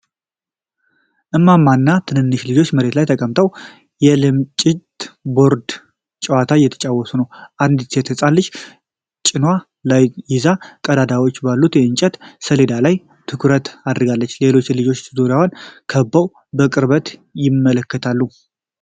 እማማ እና ትንንሽ ልጆች መሬት ላይ ተቀምጠው የልምጭት ቦርድ ጨዋታ እየተጫወቱ ነው። አንዲት ሴት ሕፃን ልጅ ጭኗ ላይ ይዛ ቀዳዳዎች ባሉት የእንጨት ሰሌዳ ላይ ትኩረት አድርጋለች። ሌሎች ልጆች ዙሪያዋን ከበው በቅርበት ይመለከታሉ።